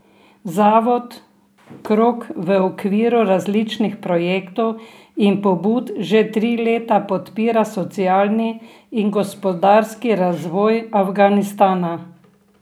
Zavod Krog v okviru različnih projektov in pobud že tri leta podpira socialni in gospodarski razvoj Afganistana.